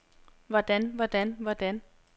hvordan hvordan hvordan